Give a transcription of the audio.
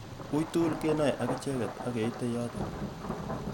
Uitugul kenai akicheket akeitey yotok